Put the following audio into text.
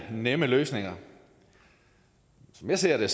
nemme løsninger som jeg ser det